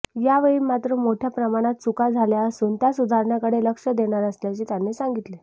यावेळी मात्र मोठय़ा प्रमाणात चुका झाल्या असुन त्या सुधारण्याकडे लक्ष देणार असल्याचे त्यांनी सांगितले